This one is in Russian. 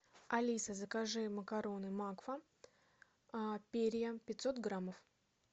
алиса закажи макароны макфа перья пятьсот граммов